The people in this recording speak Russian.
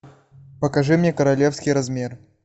покажи мне королевский размер